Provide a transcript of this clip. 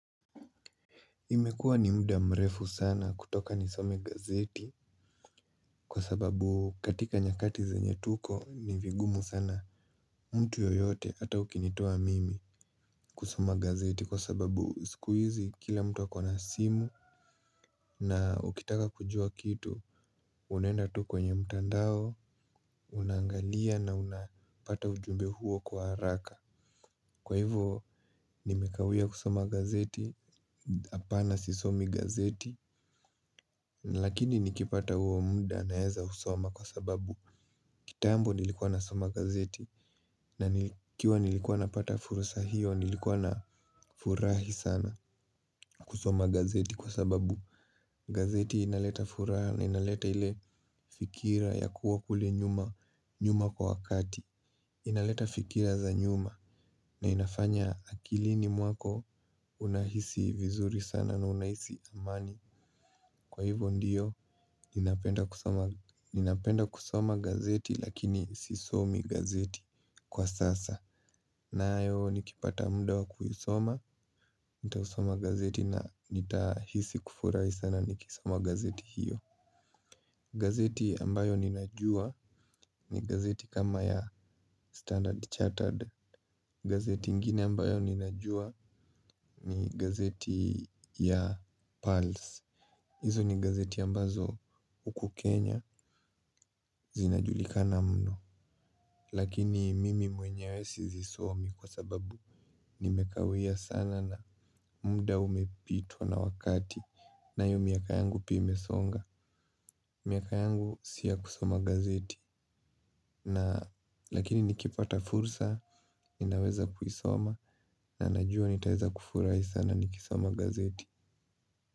Imekua ni muda mrefu sana kutoka nisome gazeti. Kwa sababu katika nyakati zenye tuko ni vigumu sana, mtu yoyote ata ukinitoa mimi, kusoma gazeti kwa sababu sikuizi kila mtu akona simu. Na ukitaka kujua kitu, unaenda tu kwenye mtandao unangalia na unapata ujumbe huo kwa haraka. Kwa hivyo. Nimekawia kusoma gazeti, hapana sisomi gazeti. Lakini nikipata huo muda naeza soma kwa sababu. Kitambo nilikuwa nasoma gazeti. Na nikiwa nilikuwa napata furusa hiyo nilikuwa nafurahi sana, kusoma gazeti kwa sababu gazeti inaleta furaha na inaleta ile fikira ya kuwa kule nyuma kwa wakati. Inaleta fikira za nyuma, na inafanya akilini mwako unahisi vizuri sana na unahisi amani. Kwa hivyo ndiyo, ninapenda kusoma gazeti lakini sisomi gazeti kwa sasa. Nayo nikipata muda wa kuisoma, nitaisoma gazeti na nitahisi kufurahi sana nikisoma gazeti hiyo. Gazeti ambayo ninajua ni gazeti kama ya standard chartered. Gazeti ingine ambayo ninajua ni gazeti ya Pulse. Izo ni gazeti ambazo huku Kenya zinajulika na mno. Lakini mimi mwenyewe sizisomi kwa sababu, nimekawia sana na munda umepitwa na wakati. Nayo miaka yangu pia imesonga. Miaka yangu siyo ya kusoma gazeti, na lakini nikipata fursa ninaweza kuisoma na najua nitaweza kufurahi sana nikisoma gazeti.